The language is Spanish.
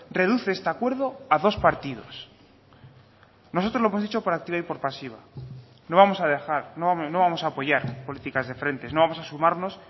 reduce este acuerdo a dos partidos nosotros lo hemos dicho por activa y por pasiva no vamos a dejar no vamos a apoyar políticas de frentes no vamos a sumarnos